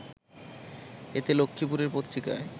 এতে লক্ষ্মীপুরের পত্রিকার